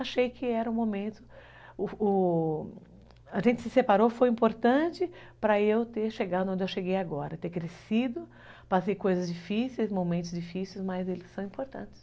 Achei que era o o momento, a gente se separou foi importante para eu ter chegado onde eu cheguei agora, ter crescido, passei coisas difíceis, momentos difíceis, mas eles são importantes.